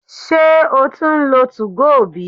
se o tun nlo 2go bi?